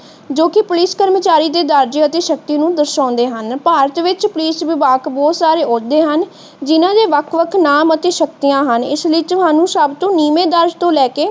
ਜੋ ਕਿ ਕਰਮਚਾਰੀ ਦੇ ਦਰਜੇ ਅਤੇ ਸ਼ਕਤੀ ਨੂੰ ਦਰਸ਼ਾਉਂਦੇ ਹਨ। ਭਾਰਤ ਵਿੱਚ ਪੁਲਿਸ ਵਿਭਾਗ ਬਹੁਤ ਸਾਰੇ ਆਉਦੇ ਹਨ ਜਿਹਨਾਂ ਦੇ ਵੱਖ ਵੱਖ ਨਾਮ ਅਤੇ ਸ਼ਕਤੀਆਂ ਹਨ ਇਸਲਈ ਤੁਹਾਨੂੰ ਸਬਤੋਂ ਨੀਵੇਂ ਦਰਜ ਤੋਂ ਲੈ ਕੇ ਪੁਲਿਸ ਦੇ